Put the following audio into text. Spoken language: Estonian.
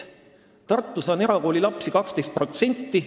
Tartus on erakoolilapsi 12%.